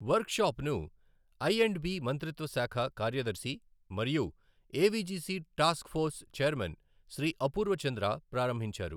వర్క్షాప్ను I and B మంత్రిత్వ శాఖ కార్యదర్శి మరియు AVGC task force chairman Shri Apurva Chandra ప్రారంభించారు.